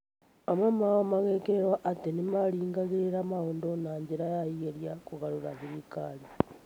Amwe ao magĩikĩrĩrũo atĩ nĩ maaringagĩrĩra maũndũ na njĩra ya igeria kũgarũra thirikari.